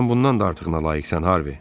"Sən bundan da artığına layiqsən, Harvi."